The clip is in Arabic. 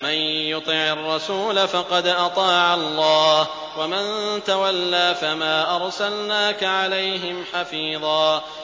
مَّن يُطِعِ الرَّسُولَ فَقَدْ أَطَاعَ اللَّهَ ۖ وَمَن تَوَلَّىٰ فَمَا أَرْسَلْنَاكَ عَلَيْهِمْ حَفِيظًا